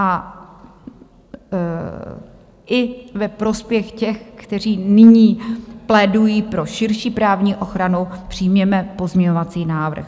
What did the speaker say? A i ve prospěch těch, kteří nyní plédují pro širší právní ochranu, přijměme pozměňovací návrh.